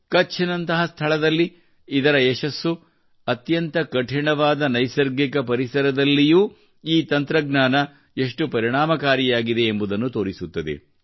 ಕಚ್ನಂತಹ ಸ್ಥಳದಲ್ಲಿ ಇದರ ಯಶಸ್ಸು ಅತ್ಯಂತ ಕಠಿಣವಾದ ನೈಸರ್ಗಿಕ ಪರಿಸರದಲ್ಲಿಯೂ ಈ ತಂತ್ರಜ್ಞಾನವು ಎಷ್ಟು ಪರಿಣಾಮಕಾರಿಯಾಗಿದೆ ಎಂಬುದನ್ನು ತೋರಿಸುತ್ತದೆ